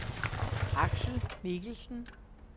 Axel Mikkelsen